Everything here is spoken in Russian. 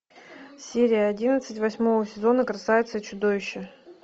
серия одиннадцать восьмого сезона красавица и чудовище